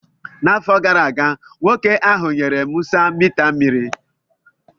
N'afọ gara aga, nwoke ahụ nyere Musa mita mmiri